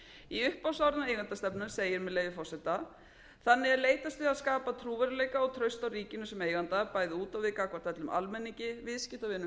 í upphafsorðum eigendastefnu segir með leyfi forseta þannig er leitast við að skapa trúverðugleika og traust á ríkinu sem eiganda bæði út á við gagnvart öllum almenningi viðskiptavinum